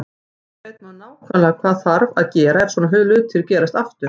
Núna veit maður nákvæmlega hvað þarf að gera ef svona hlutir gerast aftur.